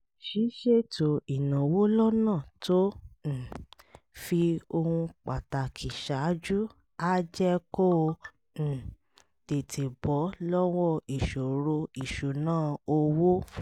ṣíṣètò ìnáwó lọ́nà tó um fi ohun pàtàkì ṣáájú á jẹ́ kó o um tètè bọ́ lọ́wọ́ ìṣòro ìṣúnná owó